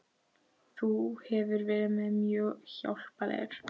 Þú hefur verið mér mjög hjálplegur